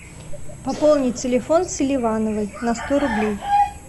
пополнить телефон селивановой на сто рублей